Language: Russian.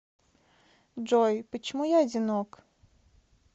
джой почему я одинок